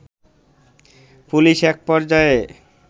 police একপর্যায়ে